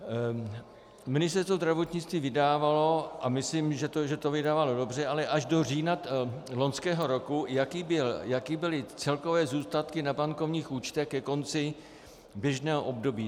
Ministerstvo zdravotnictví vydávalo, a myslím, že to vydávalo dobře, ale až do října loňského roku, jaké byly celkové zůstatky na bankovních účtech ke konci běžného období.